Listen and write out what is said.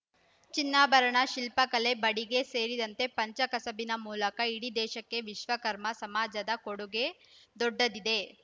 ಚಿನ್ನಾಭರಣ ಶಿಲ್ಪಕಲೆ ಬಡಿಗೆ ಸೇರಿದಂತೆ ಪಂಚ ಕಸುಬಿನ ಮೂಲಕ ಇಡೀ ದೇಶಕ್ಕೆ ವಿಶ್ವಕರ್ಮ ಸಮಾಜದ ಕೊಡುಗೆ ದೊಡ್ಡದಿದೆ